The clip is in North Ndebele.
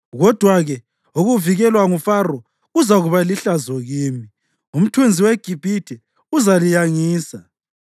Kodwa-ke ukuvikelwa nguFaro kuzakuba lihlazo kini, umthunzi weGibhithe uzaliyangisa.